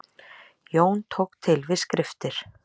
Jón tók til við skriftir.